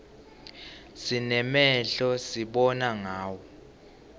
sinemehlo sibona ngawo